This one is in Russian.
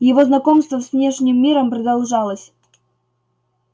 его знакомство с внешним миром продолжалось